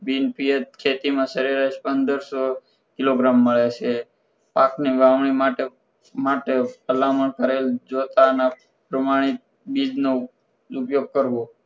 બિનપીએચ ખેતીમાં સરેરાસ પંદરસો કિલોગ્રામ મળે છે પાકની વાવણી માટે માટે ભલામણ કરેલ જોઈતા પ્રમાણે ઉપયોગ કરવો